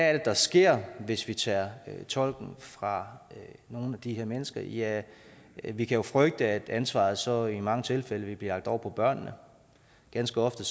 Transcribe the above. er det der sker hvis vi tager tolken fra nogle af de her mennesker ja vi kan jo frygte at ansvaret så i mange tilfælde vil blive lagt over på børnene ganske ofte